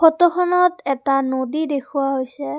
ফটোখনত এটা নদী দেখুওৱা হৈছে।